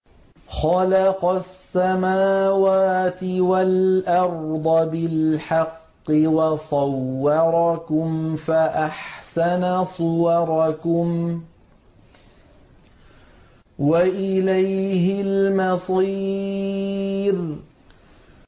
خَلَقَ السَّمَاوَاتِ وَالْأَرْضَ بِالْحَقِّ وَصَوَّرَكُمْ فَأَحْسَنَ صُوَرَكُمْ ۖ وَإِلَيْهِ الْمَصِيرُ